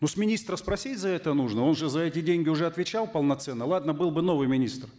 ну с министра спросить за это нужно он же за эти деньги уже отвечал полноценно ладно был бы новый министр